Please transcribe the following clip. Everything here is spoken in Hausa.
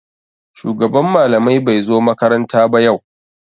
Shugaban malamai bai zo makaranta ba yau.